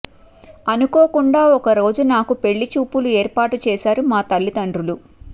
అనుకోకుండా ఒక రోజు నాకు పెళ్లి చూపులు ఏర్పాటు చేశారు మా తల్లితండ్రులు